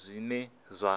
zwine zwa